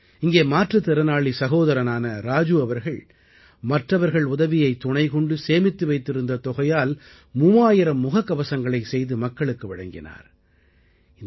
இங்கே மாற்றுத்திறனாளி சகோதரரான ராஜு அவர்கள் மற்றவர்கள் உதவியைத் துணைக்கொண்டு சேமித்து வைத்திருந்த தொகையால் 3000 முககவசங்களை செய்து மக்களுக்கு வழங்கினார்